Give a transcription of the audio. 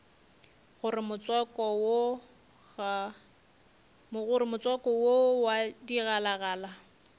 gore motswako wo wa digalagala